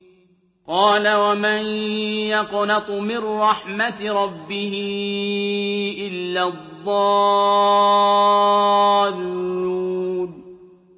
قَالَ وَمَن يَقْنَطُ مِن رَّحْمَةِ رَبِّهِ إِلَّا الضَّالُّونَ